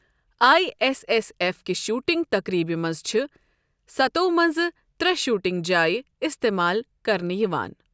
I S S F کِہ shooting تقریبِہ مَنٛز چِھ سَتو مَنٛز ترٛے شوٗٹِنٛگ جایے اِستِمال کَرنہٕ یِوان ۔